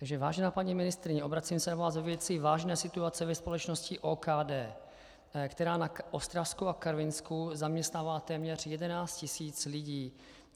Takže vážená paní ministryně, obracím se na vás ve věci vážné situace ve společnosti OKD, která na Ostravsku a Karvinsku zaměstnává téměř 11 tisíc lidí.